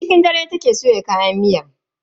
Tun cikin dare take soya kayan miyar ta.